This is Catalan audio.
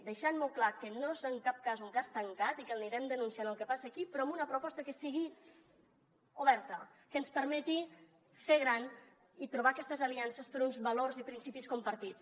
deixant molt clar que no és en cap cas un cas tancat i que anirem denunciant el que passa aquí però amb una proposta que sigui oberta que ens permeti fer gran i trobar aquestes aliances per uns valors i principis compartits